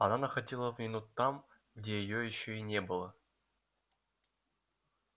она находила вину там где её ещё и не было